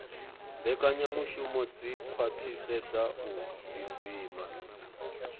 mbekanyamushumo dzi khwaṱhisedzaho u ḓidzima